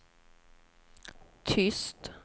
tyst